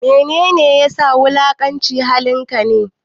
Mene ne ya sa wulakanci halin ka ne?